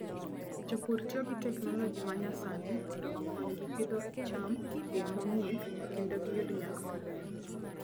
Jopur tiyo gi teknoloji ma nyasani mondo okonygi pidho cham e yo mong'ith kendo giyud nyak maber.